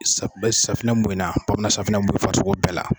Safunɛ mun in na, bamana safunɛ mu farisogo bɛɛ la.